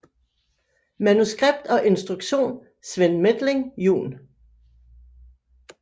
Manuskript og instruktion Sven Methling jun